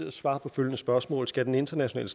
at svare på følgende spørgsmål skal den internationale